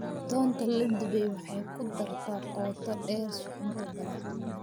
Toonta la dubay waxay ku dartaa qoto dheer suxuunta badan.